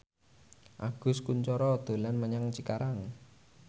Agus Kuncoro dolan menyang Cikarang